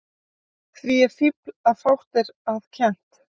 Því er fífl að fátt er að kennt.